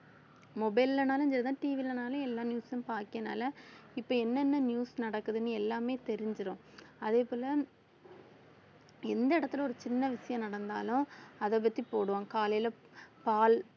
mobile லனாலும் சரிதான் TV லனாலும் எல்லா news உம் பார்க்கனால இப்ப என்னென்ன news நடக்குதுன்னு எல்லாமே தெரிஞ்சிடும் அதே போல எந்த இடத்துல ஒரு சின்ன விஷயம் நடந்தாலும் அதைப் பத்தி போடுவோம் காலையில பால்